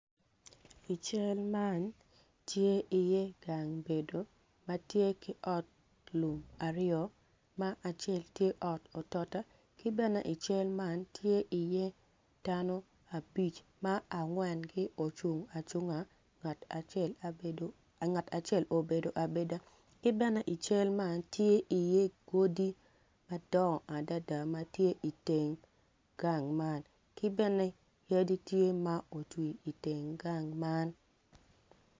I cal man tye i ye gang bedo matye ki ot lum aryo ma acel tye ot otot ki bene i cal man tye iye dano abic ma angwen gi ocung acunga ngat acel obedo abeda kibene ical man tye i ye godi madongo adada matye i teng gang man kibene yadi tye ma otwir i teng gang man.